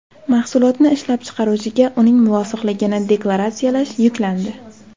Mahsulotni ishlab chiqaruvchiga uning muvofiqligini deklaratsiyalash yuklandi.